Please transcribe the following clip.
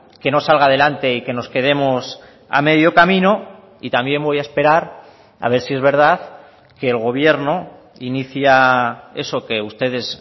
que no salga adelante y que nos quedemos a medio camino y también voy a esperar a ver si es verdad que el gobierno inicia eso que ustedes